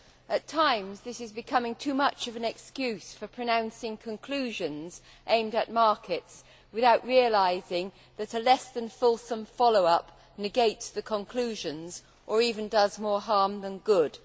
At times, this is becoming too much of an excuse for pronouncing conclusions aimed at markets, without realising that a less than fulsome follow up negates the conclusions, or even does more harm than good.